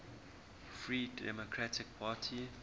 free democratic party